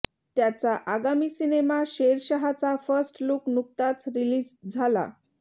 त्याचा आगामी सिनेमा शेरशाहचा फर्स्ट लुक नुकताच रिलीज झाला